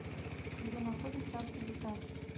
где находится автодеталь